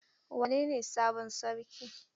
Wanene sabon sarki?